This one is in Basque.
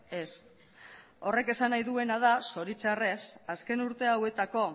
ez horrek esan nahi duena da zoritxarrez azken urte hauetako